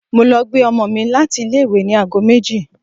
Mo lọ gbé ọmọ mi láti ilé-ìwé ní ago méjì.